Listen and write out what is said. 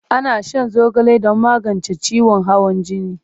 Ana shan zogale don magance ciwon hawan jini.